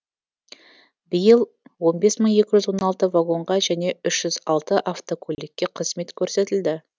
биыл он бес мың екі жүз он алты вагонға және үш жүз алты автокөлікке қызмет көрсетілді